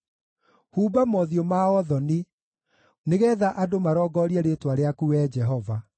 Humba mothiũ mao thoni, nĩgeetha andũ marongorie rĩĩtwa rĩaku, Wee Jehova.